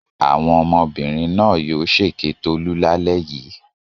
Àwọn ọmọbìnrin náà yóò ṣèké Tolú lálẹ́ yìí.